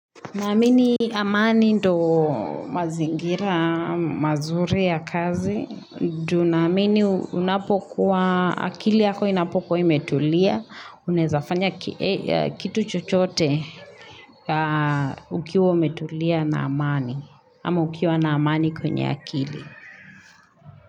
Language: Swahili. Naamini amani ndo mazingira, mazuri ya kazi. Namini unapokuwa akili yako inapokuwa imetulia. Unaezafanya kitu chochote ukiwa umetulia na amani. Ama ukiwa na amani kwenye akili.